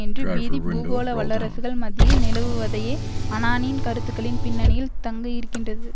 என்று பீதி பூகோள வல்லரசுகள் மத்தியில் நிலவுவதையே அனானின் கருத்துக்களின் பின்னணியில் தங்கயிருக்கின்றது